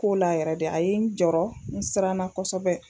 K'o la yɛrɛ de a ye n jɔrɔ n siranna kosɛbɛ